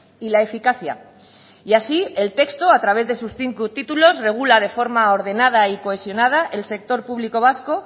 y la eficacia y así el texto a través de sus cinco títulos regula de forma ordenada y cohesionada el sector público vasco